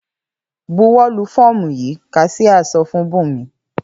‘Buwó̩ lu fó̩ò̩mù yìí!’, kas̩íá so̩ fún Bùnmi